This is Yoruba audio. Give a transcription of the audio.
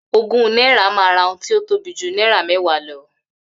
Ogún náírà ma ra ohun tí o tóbi jù náírà méwàá lọ